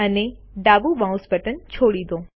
અને ડાબું mouse button છોડી દો